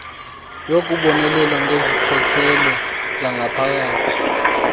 yokubonelela ngezikhokelo zangaphakathi